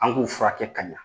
An k'u furakɛ ka ɲa